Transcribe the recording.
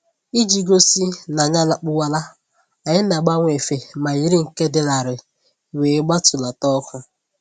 Iji gosi n'anyị alakpuwala, anyị na-agbanwe efe ma yiri nke dị larịị wee gbatulata ọkụ